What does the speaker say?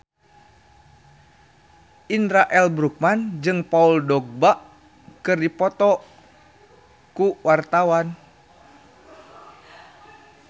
Indra L. Bruggman jeung Paul Dogba keur dipoto ku wartawan